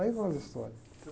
Aí vão as histórias.